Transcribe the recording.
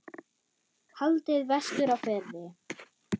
Haldið vestur á Firði